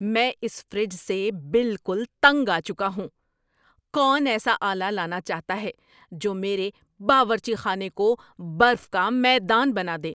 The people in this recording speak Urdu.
میں اس فریج سے بالکل تنگ آ چکا ہوں۔ کون ایسا آلہ لانا چاہتا ہے جو میرے باورچی خانے کو برف کا میدان بنا دے؟